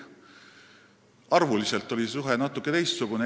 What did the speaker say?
Arvuliselt oli see suhe natuke teistsugune.